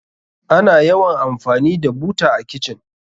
Ana yawan amfani da buta a kitchen.